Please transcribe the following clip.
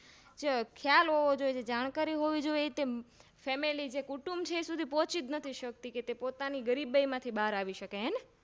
ખ્યાલ હોવો જોઈએ જાણકારી હોવી જોઈ એ Family છે કુંટુબ છે તે સુધી પોચીચ નથી સકતી કે તે પોતાની ગરીબાઈમાંથી બાર આવી શકે હેને